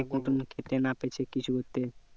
ঠিক মতন খেতে না পেছি কিছু করতে